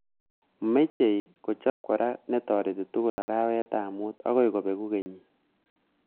Mechei kochop kora netoreti tugul arawetab mut akoy kopeku kenyit